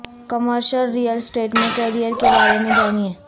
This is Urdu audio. کمرشل ریل اسٹیٹ میں کیریئر کے بارے میں جانیں